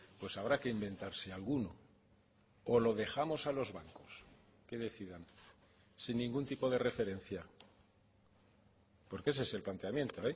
pues habrá que inventarse alguno o lo dejamos a los bancos que decidan sin ningún tipo de referencia porque ese es el planteamiento